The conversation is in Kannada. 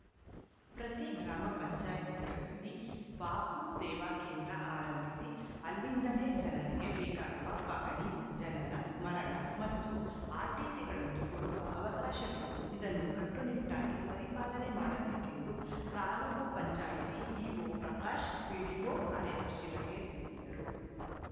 ಪ್ರತಿ ಗ್ರಾಮ ಪಂಚಾಯತ್ ಗಳಲ್ಲಿ ಬಾಪೂ ಸೇವಾ ಕೇಂದ್ರ ಆರಂಭಿಸಿ ಅಲ್ಲಿಂದಲೆ ಜನರಿಗೆ ಬೇಕಾಗುವ ಪಹಣಿ ಜನನ ಮರಣ ಮತ್ತು ಆರ್‌ಟಿಸಿ ಗಳನ್ನು ಕೊಡುವ ಅವಕಾಶವಿದ್ದು ಇದನ್ನು ಕಟ್ಟು ನಿಟ್ಟಾಗಿ ಪರಿಪಾಲನೆ ಮಾಡಬೇಕೆಂದು ತಾಲೂಕ್ ಪಂಚಾಯತ್ ಇಒ ಪ್ರಕಾಶ್‌ ಪಿಡಿಒ ಕಾರ್ಯದರ್ಶಿಗಳಿಗೆ ತಿಳಿಸಿದರು